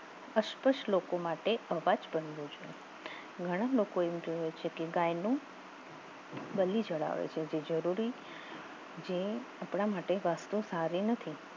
અસપસ લોકો માટે અવાજ બંધુ છે ઘણા લોકો એમ જોયું છે કે ગાયનું બલી ચડાવે છે જે જરૂરી જે આપણા માટે વસ્તુ સારી નથી